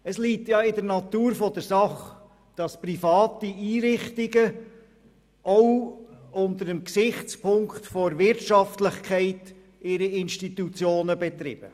Es liegt in der Natur der Sache, dass private Einrichtungen ihre Institutionen auch unter dem Gesichtspunkt der Wirtschaftlichkeit betreiben.